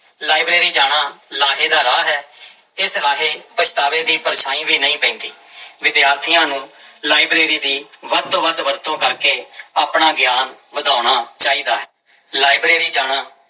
library ਜਾਣਾ ਲਾਹੇ ਦਾ ਰਾਹ ਹੈ ਇਸ ਰਾਹੇ ਪਛਤਾਵੇ ਦੀ ਪਰਛਾਂਈ ਵੀ ਨਹੀਂ ਪੈਂਦੀ, ਵਿਦਿਆਰਥੀਆਂ ਨੂੰ ਲਾਇਬ੍ਰੇਰੀ ਦੀ ਵੱਧ ਤੋਂ ਵੱਧ ਵਰਤੋਂ ਕਰਕੇ ਆਪਣਾ ਗਿਆਨ ਵਧਾਉਣਾ ਚਾਹੀਦਾ ਹੈ, ਲਾਇਬ੍ਰੇਰੀ ਜਾਣਾ